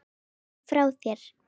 Legðu hann frá þér